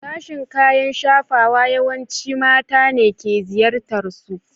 Sashen kayan shafawa yawanci mata ne ke ziyartarsu.